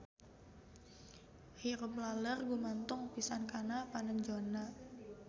Hirup laleur gumantung pisan kana panenjona.